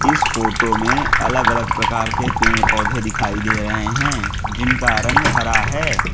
इस फोटो में अलग अलग प्रकार के पेड़ पौधे दिखाई दे रहे हैं जिनका रंग हरा है।